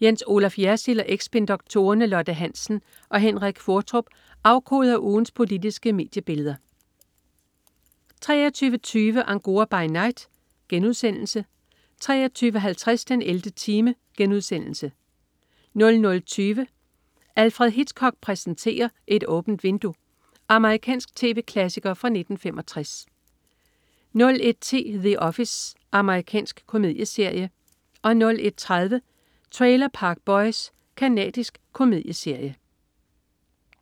Jens Olaf Jersild og eks-spindoktorerne Lotte Hansen og Henrik Qvortrup afkoder ugens politiske mediebilleder 23.20 Angora by Night* 23.50 den 11. time* 00.20 Alfred Hitchcock præsenterer: Et åbent vindue. Amerikansk tv-klassiker fra 1965 01.10 The Office. Amerikansk komedieserie 01.30 Trailer Park Boys. Canadisk komedieserie